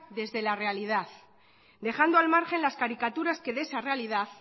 desde la realidad dejando al margen las caricaturas que de esa realidad